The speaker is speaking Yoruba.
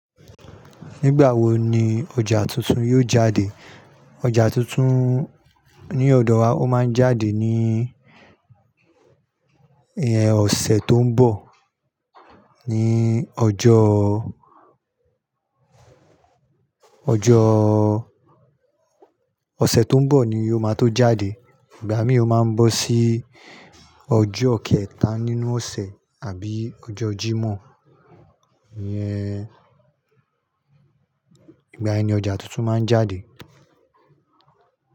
Nígbà wo ni ọjà tuntun yóò jáde? Ọjà tuntun ní ọ̀dọ̀ wa ó máa ń jáde ní ìhẹ ọ̀sẹ̀ tó ń bọ̀. Ní ọjọ́, ọjọ́, ọ̀sẹ̀ tó ń bọ̀ ni yóò má tó jáde. Ìgbà mí ó máa ń bọ sí ọjọ́ kẹta nínú ọ̀sẹ̀ àbí ọjọ́ Jímọ̀. Ìyẹn, ìgbà ẹni ọjà tuntun máa ń jáde.